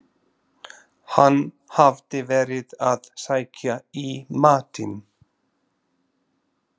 Hann hafði verið að sækja í matinn.